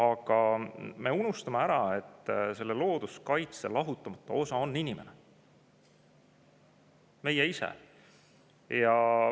Aga me unustame ära, et looduskaitse lahutamatu osa on inimene, meie ise.